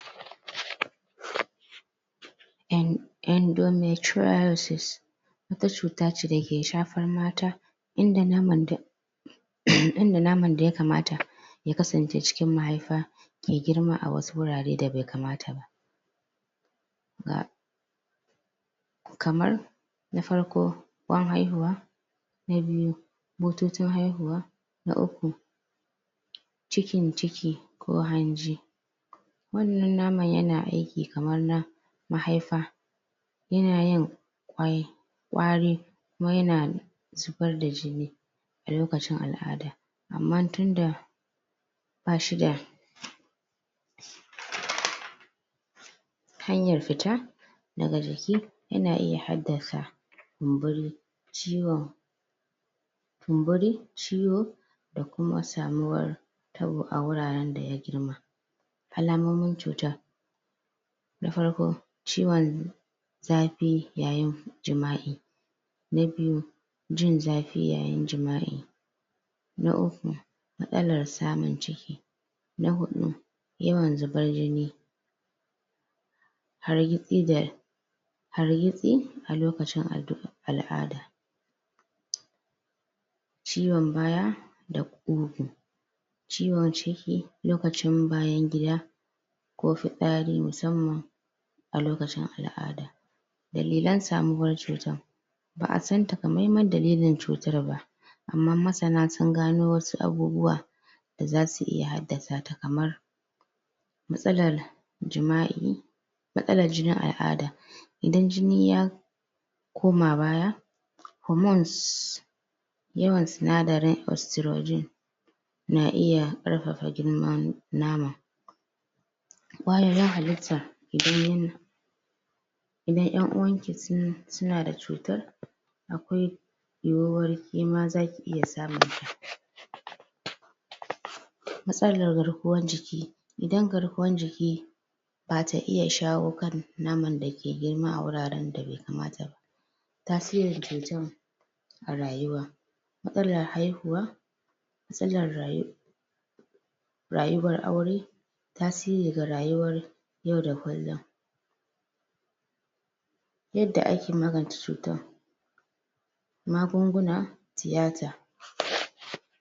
en endometriosis wata cuta ce dake shafar mata in da naman da Ehem inda naman da yakamata ya kasan ce cikin mahaifa ke girma a wasu wurare da bai kamata ba ba kamar na farko kwan haihuwa na biyu bututun haihuwa na uku cikin ciki ko hanji wannan naman yana aiki kamar na mahaifa yana yin waye wari kuma yana zubar da jini a lokacin al'ada amman tunda bashi da hanyar fita daga jiki yana iya haddasa kumburi ciwon kumburi ciwo da kuma samuwar tabo a wuraren da ya girma alamomin cuta na farko ciwon zafi yayin jima'i na biyu jin zafi yayin jima'i na uku matsalar samun ciki na huɗu yawan zubar jini hargitsi da hargitsi a lokacin addu al'ada ciwon baya da ƙugu ciwon ciki lokacin bayan gida ko fitsari musamman a lokacin al'ada dalilan samuwar cutar ba'a san takamaimai dalilin cutar ba amman masana sun gano wasu abubuwa da zasu iya haddasa ta kamar matsalar jima'i matsalar jinin al'ada idan jini ya koma baya homons yawan sinadarin ostrojin na iya ƙarfafa girman naman kwayar halitta jinin idan 'yan uwanki sun suna da cutar akwai yiwuwar kema zaki iya samun ta matsalar garkuwan jiki idan garkuwan jiki bata iya shawo kan naman da ke girma a wuraren da bai kamata ba tasirin cutan a rayuwa matsalar haihuwa? rayuwar aure tasiri ga rayuwar yau da kullum yadda ake magance cutan magunguna tiyata